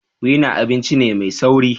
Wena abinci ne mai sauri.